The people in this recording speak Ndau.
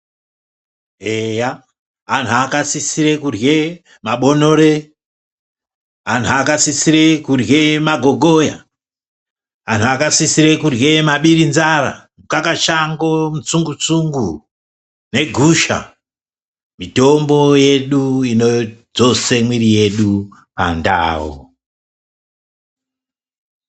Eya anhu akasisire kurye mabonore, anhu akasisire kurye magogoya, anhu akasisire kurye mabirenzara, mukakashango, mutsungutsungu negusha. Mitombo yedu inodzose mwiri yedu pandau.